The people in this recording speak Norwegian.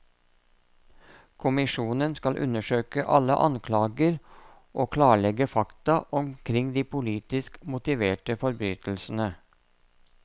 Kommisjonen skal undersøke alle anklager og klarlegge fakta omkring de politisk motiverte forbrytelsene.